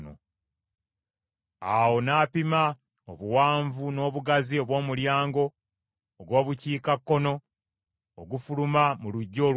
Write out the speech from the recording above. Awo n’apima obuwanvu n’obugazi obw’omulyango ogw’Obukiikakkono ogufuluma mu luggya olw’ebweru.